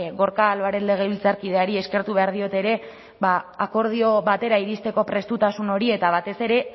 gorka álvarez legebiltzarkideari eskertu behar diot ere akordio batera iristeko prestutasun hori eta batez ere